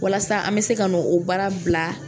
Walasa an bɛ se ka no o baara bila